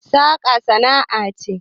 saka sana'a ce